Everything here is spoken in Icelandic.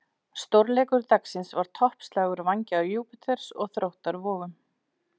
Stórleikur dagsins var toppslagur Vængja Júpíters og Þróttar Vogum.